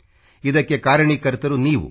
ಇದಕ್ಕೆ ಕಾರಣೀಕರ್ತರು ನೀವು